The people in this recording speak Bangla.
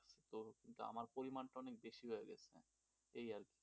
কিন্তু আমার পরিমাণটা অনেক বেশি লাগছে সেই আর কি,